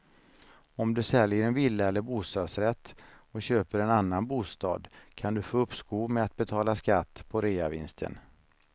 Om du säljer en villa eller bostadsrätt och köper en annan bostad kan du få uppskov med att betala skatt på reavinsten.